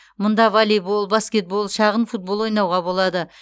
мұнда волейбол баскетбол шағын футбол ойнауға болады